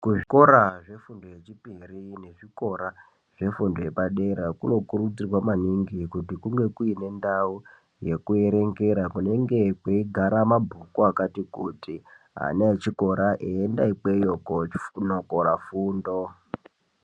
Muzvikora zvefundo yechipiri nechikora zvefundo yepadera kunokurudzirwa maningi kuti kunge kune ndau yekuerengera kunenge kweigara mabhuku akati kuti ana echikora eienda ikweyo konokora fundo.